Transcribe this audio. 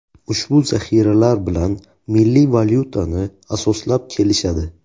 Ushbu zaxiralar bilan milliy valyutani asoslab kelishadi.